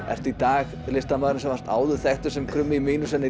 ertu í dag listamaðurinn sem var áður þekktur sem krummi í mínus en